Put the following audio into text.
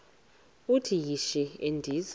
uthi yishi endiza